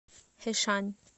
хэшань